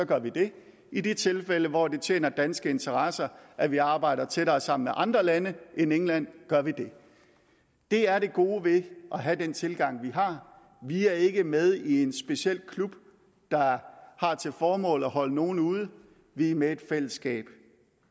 gør vi det i de tilfælde hvor det tjener danske interesser at vi arbejder tættere sammen med andre lande end england gør vi det det er det gode ved at have den tilgang vi har vi er ikke med i en speciel klub der har til formål at holde nogen ude vi er med i et fællesskab